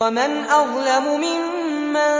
وَمَنْ أَظْلَمُ مِمَّن